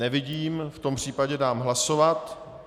Nevidím, v tom případě dám hlasovat.